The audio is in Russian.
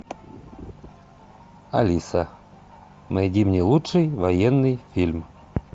алиса найди мне лучший военный фильм